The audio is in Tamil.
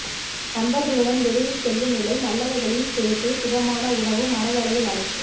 நண்பர்களுடன் வெளியில் செல்லும் நிலை நல்லவர்களின் சேர்க்கை சுகமான உணவு மனதளவில் அலைச்சல்